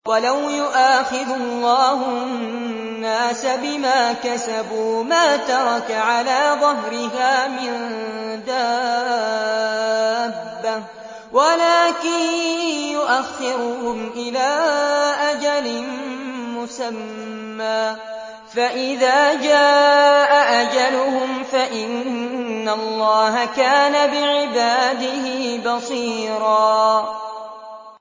وَلَوْ يُؤَاخِذُ اللَّهُ النَّاسَ بِمَا كَسَبُوا مَا تَرَكَ عَلَىٰ ظَهْرِهَا مِن دَابَّةٍ وَلَٰكِن يُؤَخِّرُهُمْ إِلَىٰ أَجَلٍ مُّسَمًّى ۖ فَإِذَا جَاءَ أَجَلُهُمْ فَإِنَّ اللَّهَ كَانَ بِعِبَادِهِ بَصِيرًا